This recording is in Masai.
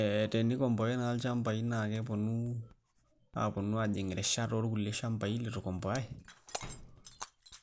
Ee tenikombowai naa ilchamabai naa keponu aponu aajing' irishat orkulie shambai litu ikombowai